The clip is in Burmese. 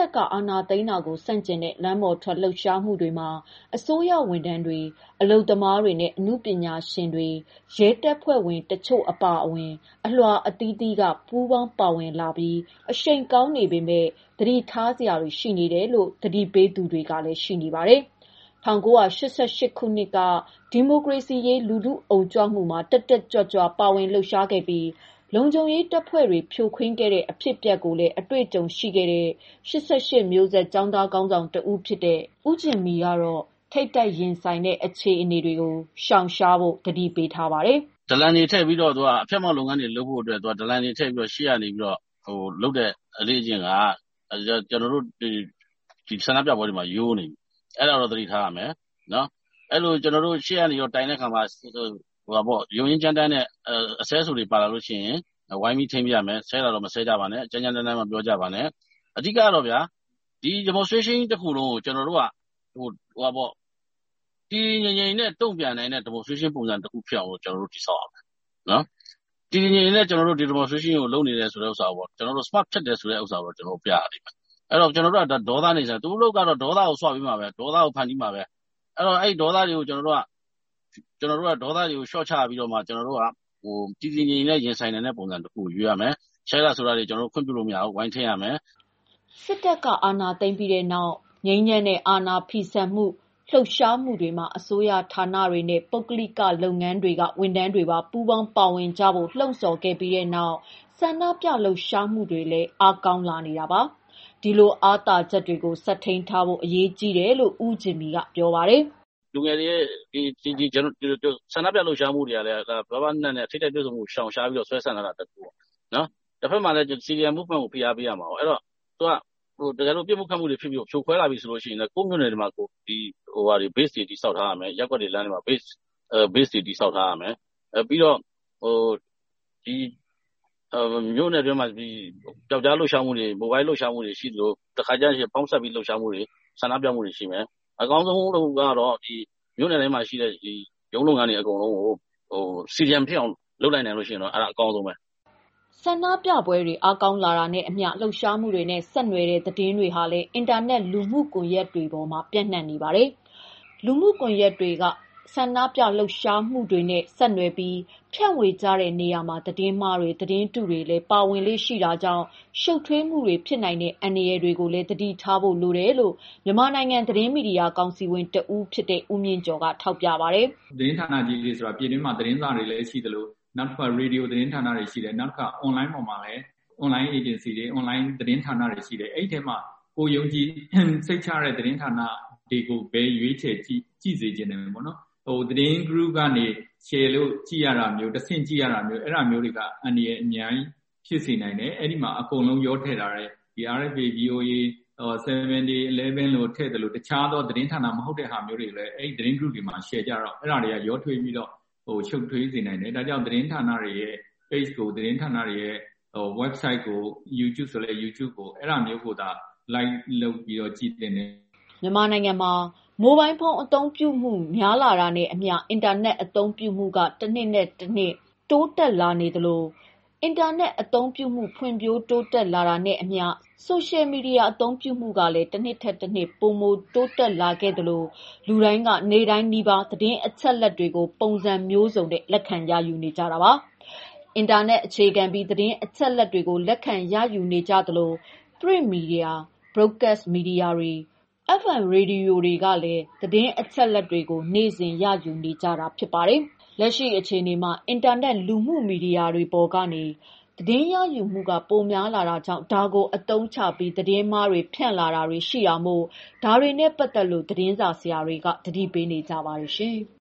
ပ်က အာဏာသိမ်းတာကို ဆန့်ကျင်တဲ့ လမ်းပေါ်ထွက် လှုပ်ရှားမှုတွေမှာ အစိုးရဝန်ထမ်းတွေ၊ အလုပ်သမားတွေနဲ့ အနုပညာရှင်တွေနဲ့ ရဲတပ်ဖွဲ့ဝင်တချို့ အပါအဝင် အလွှာအသီးသီးက ပူးပေါင်းပါဝင်လာပြီး အရှိန်ကောင်းနေပေမဲ့ သတိထားစရာတွေ ရှိနေတယ်လို့ သတိပေးသူတွေလည်း ရှိနေပါတယ်။ ၁၉၈၈ ခုနှစ်က ဒီမိုကရေစီရေး လူထုအုံကြွမှုတွေမှာ တက်တက်ကြွကြွ ပါဝင်လှုပ်ရှားခဲ့ပြီး လုံခြုံရေးတပ်ဖွဲ့တွေ ဖြိုခွင်းခဲ့တဲ့ အဖြစ်အပျက်ကိုလည်း အတွေ့အကြုံရှိခဲ့တဲ့ ၈၈ မျိုးဆက် ကျောင်းသားခေါင်းဆောင်တဦးဖြစ်တဲ့ ဦးဂျင်မီကတော့ ထိပ်တိုက်ရင်ဆိုင်တဲ့ အခြေအနေတွေကို ရှောင်ရှားဖို့ သတိပေးထားပါတယ်။ “ဒလန်တွေထည့်ပြီး အဖျက်အမှောင့်တွေလုပ်ဖို့အတွက်လုပ်တဲ့ အလေ့အကျင့်က ဆန္ဒပြပွဲတွေမှာ တကယ်တော့ ရိုးနေ ပြီ။ အဲဒါကိုသတိထားရမယ်။ ရှေ့ကတိုင်တာမှာ အဆဲအဆိုတွေ ပါလာလို့ရှိရင် ဝိုင်းထိန်းပေးရမယ်။ ဆဲတာမဆဲကြပါနဲ့ ကြမ်းကြမ်းတမ်းတမ်းမပြောကြပါနဲ့။ အဓိကကတော့ ဒါကြီးတခုလုံးကို တည်တည်ငြိမ်ငြိမ်နဲ့ တုံ့ပြန်နိုင်တဲ့ အခြေအနေ တခုကိုတည်ဆောက်ရမယ်။ ဒီလို တည်တည်ငြိမ်ငြိမ် လုပ်ဆောင်နေတာ Smart ဖြစ်တယ်ဆိုတာမျိုးကို ကျနော်တို့ပြရ လိမ့်မယ်။ သူတို့အလုပ်ကတော့ ဒေါသကို ဆွပေးမှာဘဲ ဒေါသကိုဖန်တီးမှာဘဲ ဒါကိုကျနော်တို့က ဒေါသကိုလျော့ပြီး တည်တည်ငြိမ်ငြိမ် ရင်ဆိုင်နိုင်တာကို ရွေးရမယ်။ ဆဲတာဆိုတာကို ခွင့်ပြုလို့မရဘူး။ ဝိုင်းထိန်းရပါမယ်။” စစ်တပ်က အာဏာသိမ်းပြီးနောက် ငြိမ်းချမ်းတဲ့ အာဏာဖီဆန်မှု လှုပ်ရှားမှုတွေမှာ အစိုးရဌာနတွေနဲ့ ပုဂ္ဂလိက လုပ်ငန်းတွေက ဝန်ထမ်းတွေပါ ပူးပေါင်းပါဝင်ကြဖို့ လှုံ့ဆော်ခဲ့ပြီးနောက် ဆန္ဒပြလှုပ်ရှားမှုတွေလည်း အားကောင်းလာနေတာပါ။ ဒီလိုအားသာချက်တွေကို ဆက်ထိန်းထားဖို့လည်း အရေးကြီးတယ်လို့ ဦးဂျင်မီက ပြောပါတယ်။ “ဆန္ဒပြမှုတွေမှာ ပါးပါးနပ်နပ်နဲ့ ထိပ်တိုက်တွေ့ဆုံမှုကိုရှောင်ရှားပြီးဆွဲဆန့်နိုင်ဖို့ တခု ၊ တဖက်မှာလည်း CDM ကို ဖိအားပေးလုပ်ဆောင်ရမယ်။ ပစ်တာခတ်တာတွေ လုပ်ပြီးဖြိုခွဲလာပြီဆို ကိုယ့်မြို့ကိုယ့်ရပ်ရွာမှာ Base တွေ တည်ဆောက်ထားတာ၊ မြို့နယ်တွင်း ပြောက်ကျားလုပ်ရှားမှုတွေရှိသလို၊ Mobile လုပ်တာတွေလုပ်ရမယ် တခါ တလေကျရင် ပေါင်းစပ်လှုပ်ရှားမှုတွေလုပ်ရမယ်။ အကောင်းဆုံးကတော့ မြို့နယ်တွေက ရုံးလုပ်ငန်းတွေကို CDM လုပ်အောင်လုပ်နိုင်ရင်တော့ အကောင်းဆုံးပါဘဲ။” ဆန္ဒပြပွဲတွေ အားကောင်းလာနေတာနဲ့အမျှ လှုပ်ရှားမှုတွေနဲ့ ဆက်နွယ်တဲ့ သတင်းတွေဟာလည်း အင်တာနက် လူမှုကွန်ရက်တွေမှာ ပျံ့နှံ့နေပါတယ်။ လူမှုကွန်ရက်တွေပေါ်က ဆန္ဒပြလှုပ်ရှားမှုတွေနဲ့ ဆက်နွယ်ပြီး ဖြန့်ဝေကြတဲ့နေရာမှာ သတင်းမှားတွေ၊ သတင်းတုတွေလည်း ပါဝင်လေ့ရှိတတ်တာကြောင့် ရှုတ်ထွေးမှုတွေ ဖြစ်နိုင်တဲ့ အန္တရာယ်တွေ ရှိတာကိုလည်း သတိထားဖို့လိုတယ်လို့ မြန်မာနိုင်ငံ သတင်းမီဒီယာ ကောင်စီဝင်တဦးဖြစ်တဲ့ ဦးမြင့်ကျော်ကထောက်ပြပါတယ်။ “ ယုံကြည်ရတဲ့သတင်းဌာန သတင်းဌာနကြီးတွေဆိုတာ ပြည်တွင်းမှာသတင်းစာတွေ လည်းရှိသလို ရေဒီယို သတင်းဌာန၊ အွန်လိုင်းသတင်းဌာန အွန်လိုင်းအေဂျင်စီတွေရှိတယ်။ အဲထဲကနေ ကိုယ်ယုံကြည်စိတ်ချရတဲ့ သတင်းဌာနတွေကို ကြည့်စေချင်တယ်။ သတင်း Group တွေကနေကြည့်တာမျိုးတွေက အန္တရာယ်အများကြီးဖြစ်စေနိုင်တယ်။ အဲဒီမှာ အကုန်ရောထည့်ထားတယ်။ RFA, VOA, 7 Day, Eleven စသဖြင့် သူတို့ဟာတွေလည်းထည့်သလို တခြားသောသတင်းဌာနမဟုတ်တာတွေကိုလည်း အဲသတင်း Group တွေမှာရှယ်တော့ အဲဒါတွေရောထွေးပြီးတော့ ရှုပ်ထွေး စေနိုင်တယ်။ ဒါကြောင့်သတင်းဌာနတွေရဲ့ ပေချ် ၊ ဝက်ဆိုဒ်ကို YouTube ဆိုလဲ YouTube ကို အဲဒါမျိုးတွေကိုသာ Like လုပ်ကြည့်သင့်ပါတယ်” မြန်မာနိုင်ငံမှာ မိုဘိုင်းဖုန်းအသုံးပြုမှုများလာတာနဲ့အမျှ အင်တာနက်အသုံးပြုမှုက တစ်နှစ်ထက် တစ်နှစ်တိုးတက်လာခဲ့သလို အင်တာနက်အသုံးပြုမှု ဖွံ့ဖြိုးတိုးတက်လာတာနဲ့အမျှ Social Media အသုံးပြုမှုကလည်း တစ်နှစ်ထက်တစ်နှစ် ပိုမိုတိုးတက်လာခဲ့သလို လူတိုင်းက နေ့တိုင်းနီးပါး သတင်းအချက်အလက်တွေကို ပုံစံမျိုးစုံနဲ့ လက်ခံရယူနေကြပါတယ်။ အင်တာနက် အခြေခံပြီး သတင်းအချက်အလက်တွေကို လက်ခံရယူကြသလို Print Media, Broadcast Media တွေ၊FM ရေဒီယိုတွေကနေလည်း သတင်းအချက်အလက်တွေကို နေ့စဉ်ရယူနေကြတာမှာ လက်ရှိအခြေအနေမှာ အင်တာနက် လူမှုမီဒီယာတွေပေါ်ကနေ သတင်းရယူမှုကပိုများလာတာကြောင့် ဒါကို အသုံးချပြီး သတင်းမှားတွေ ဖြန့်လာတာတွေရှိလာ တာမို့ ဒါတွေနဲ့ပတ်သတ်လို့ သတင်းစာဆရာတွေက သတိပေးနေကြပါတယ်။